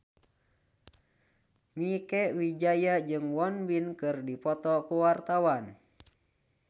Mieke Wijaya jeung Won Bin keur dipoto ku wartawan